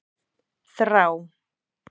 Þrá